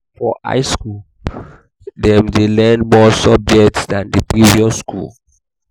for high school dem de learn more subject than the previous school